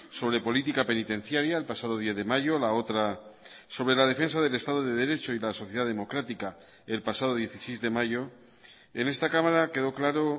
sobre política penitenciaria el pasado diez de mayo la otra sobre la defensa del estado de derecho y la sociedad democrática el pasado dieciséis de mayo en esta cámara quedó claro